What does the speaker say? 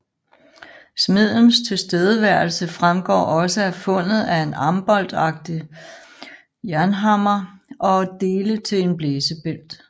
Smedens tilstedeværelse fremgår også af fundet af en amboltlignende jernhammer og dele til en blæsebælg